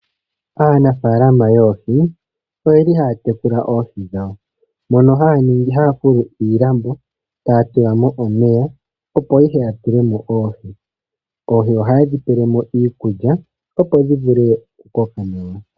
Aanafaalama yoohi, oye li haa tekula oohi dhawo, mono haa fulu iilambo, taa tula mo omeya, opo ihe ya tule mo oohi. Oohi oha ye dhi pele mo iikulya, opo dhi vule oku koka nawa.